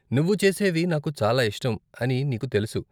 నువ్వు చేసేవి నాకు చాలా ఇష్టం అని నీకు తెలుసు.